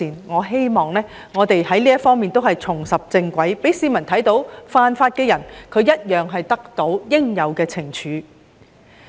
我希望這些方面都可以重拾正軌，讓市民看到犯法的人會得到應有懲處。